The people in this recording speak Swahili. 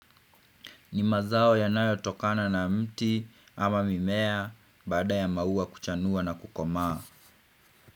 Ni mazao yanayotokana na mti ama mimea baada ya maua kuchanua na kukomaa.